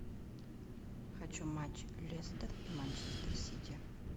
хочу матч лестер и манчестер сити